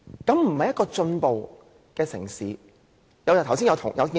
這是一個進步城市應有的表現嗎？